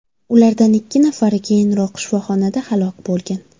Ulardan ikki nafari keyinroq shifoxonada halok bo‘lgan.